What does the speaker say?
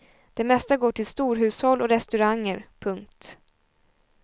Det mesta går till storhushåll och restauranger. punkt